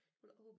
Hun havde håbet